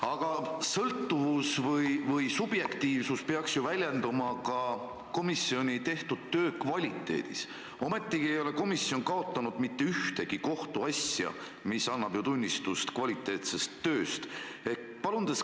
Aga sõltuvus või subjektiivsus peaks ju väljenduma ka komisjoni tehtud töö kvaliteedis, ometigi ei ole komisjon kaotanud mitte ühtegi kohtuasja ja see annab ju tunnistust kvaliteetsest tööst.